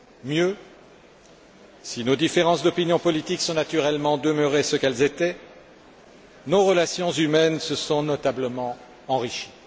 Mieux, si nos différences d'opinion politique sont naturellement demeurées ce qu'elles étaient, nos relations humaines se sont notablement enrichies.